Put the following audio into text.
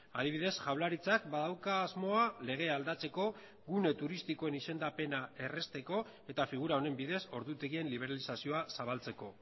adibidez jaurlaritzak badauka asmoa legea aldatzeko gune turistikoen izendapena errazteko eta figura honen bidez ordutegien liberalizazioa zabaltzeko